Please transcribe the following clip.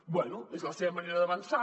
bé és la seva manera d’avançar